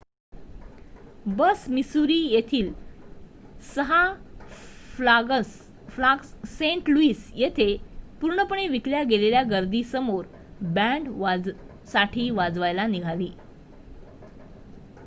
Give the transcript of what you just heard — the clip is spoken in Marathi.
बस मिसुरी येथील 6 फ्लाग्स सेंट लुईस येथे पूर्णपणे विकल्या गेलेल्या गर्दीसमोर बॅंड साठी वाजवायला निघाली